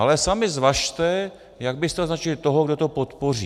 Ale sami zvažte, jak byste označili toho, kdo to podpoří.